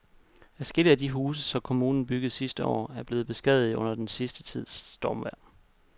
Adskillige af de huse, som kommunen byggede sidste år, er blevet beskadiget under den sidste tids stormvejr.